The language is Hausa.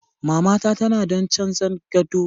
Mamata tanadon canza gado ta kuma baba na ya mata alkawari.